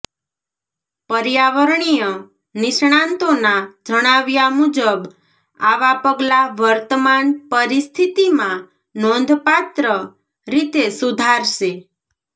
પર્યાવરણીય નિષ્ણાતોના જણાવ્યા મુજબ આવા પગલાં વર્તમાન પરિસ્થિતિમાં નોંધપાત્ર રીતે સુધારશે